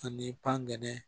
Ani pangɛnɛ